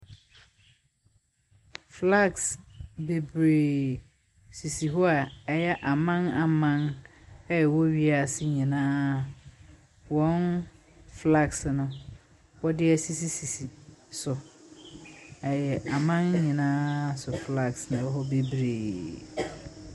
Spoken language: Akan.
Flagis bebree sisi hɔ a ɛyɛ aman aman a ɛwɔ wiase nyinaa wɔn flagis no, wɔde asisisi so. Ɛyɛ aman nyinaa so flagis na ɛwɔ hɔ bebree.